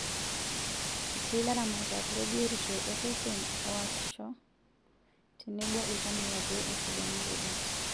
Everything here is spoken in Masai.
Etii laramatak lebiotisho osesen oosisho tenebo iltamoyia pee esidanu rubat.